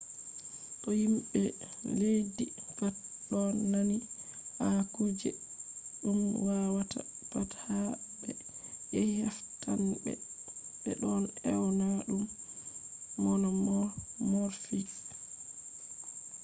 to himɓe leddi pat ɗon nandi ha kuje ɗum wawata pat ha ɓe yahi heftanɓe ɓe ɗon ewna ɗum monomorfic